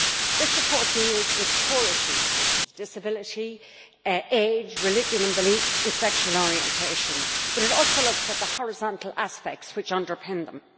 This report deals with core issues such as disability, age, religion and belief and sexual orientation, but it also looks at the horizontal aspects which underpin them.